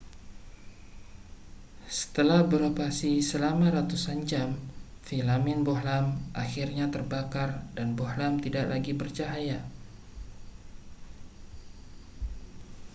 setelah beroperasi selama ratusan jam filamen bohlam akhirnya terbakar dan bohlam tidak lagi bercahaya